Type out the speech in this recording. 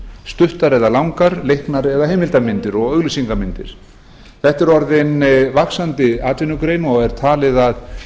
stuttar eða langar leiknar eða heimildamyndir og auglýsingamyndir þetta er orðin vaxandi atvinnugrein og er talið að